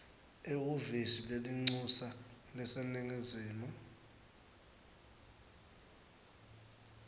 ehhovisi lelincusa laseningizimu